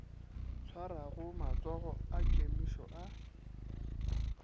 swarago matsogo a kemišo a